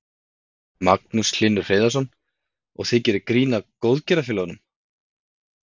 Magnús Hlynur Hreiðarsson: Og þið gerið grín að góðgerðarfélögum?